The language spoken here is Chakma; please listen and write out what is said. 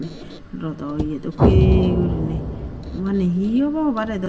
rodow iye dokkey goriney obani he obo hobarey dow.